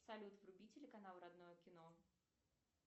салют вруби телеканал родное кино